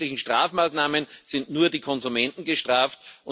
Mit zusätzlichen Strafmaßnahmen sind nur die Konsumenten gestraft.